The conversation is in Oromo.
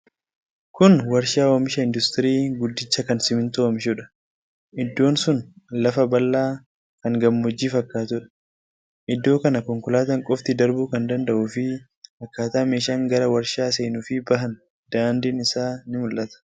Kun warshaa oomisha industirii guddicha kan simintoo oomishudha. Iddoon sun lafa bal’aa tan gammoojjii fakkaatudha. Iddoo kana konkolaataan qofti darbuu kan danda’uu fi akkaataa meeshaan gara warshaa seenuu fi bahan, daandiin isaa ni mul'ata.